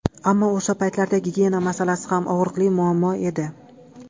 Ammo o‘sha paytlarda gigiyena masalasi ham og‘riqli muammo edi.